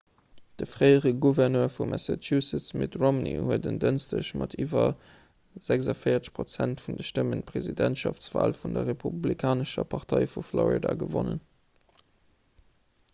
de fréiere gouverneur vu massachusetts mitt romney huet en dënschdeg mat iwwer 46 prozent vun de stëmmen d'presidentschaftswal vun der republikanescher partei vu florida gewonnen